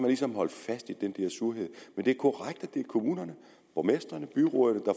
ligesom holdt fast i den der surhed men det er korrekt at det er kommunerne borgmestrene og byrådene der